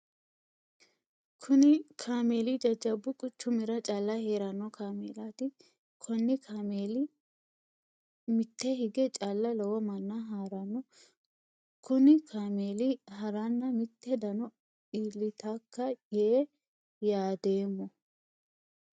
Kunni kaameeli jajabu quchumira calla heerano kaameelaati. Konni kaameeli mite hige calla lowo manna haarano kunni kaameeli haranna mite dano iilitaka yee yaadoomo.